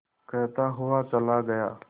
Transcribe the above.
कहता हुआ चला गया